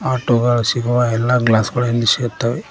Auto ಗಳ್ ಸಿಗುವ ಎಲ್ಲಾ ಗ್ಲಾಸ್ ಗಳು ಇಲ್ಲಿ ಸಿಗುತ್ತವೆ.